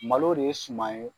Malo de ye suman ye